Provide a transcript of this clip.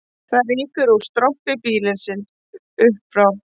Það rýkur úr strompi býlisins upp frá